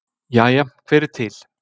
Jæja hver er til?